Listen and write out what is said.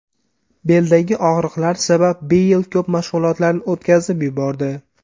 Beldagi og‘riqlar sabab Beyl ko‘p mashg‘ulotlarni o‘tkazib yubordi.